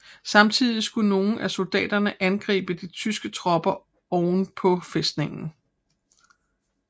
Samtidig skulle nogle af soldaterne angribe de tyske tropper oven på fæstningen